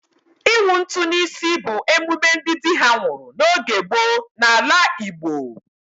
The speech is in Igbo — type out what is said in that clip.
Ịwụ ntụ n'isi bụ emume ndị dị ha nwụrụ n'oge gboo n'ala Igbo.